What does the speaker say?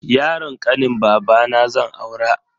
Yaron kanin babana zan aura.